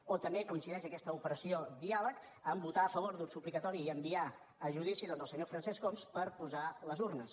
o també coincideix aquesta operació diàleg amb el fet de votar a favor d’un suplicatori i enviar a judici doncs el senyor francesc homs per posar les urnes